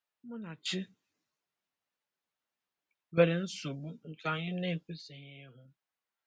Munachi nwere nsogbu, nke anyị na-ekwesịghị ịhụ.